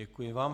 Děkuji vám.